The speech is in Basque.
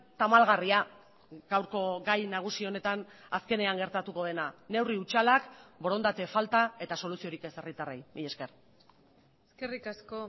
tamalgarria gaurko gai nagusi honetan azkenean gertatuko dena neurri hutsalak borondate falta eta soluziorik ez herritarrei mila esker eskerrik asko